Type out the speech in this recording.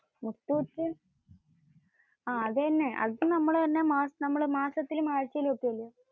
അആഹ്. അത് തന്നു. അത് നമ്മൾ മാസത്തിൽ മാറ്റി വെയ്ക്കുന്നു.